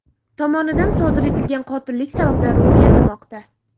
tomonidan sodir etilgan qotillik sabablari o‘rganilmoqda.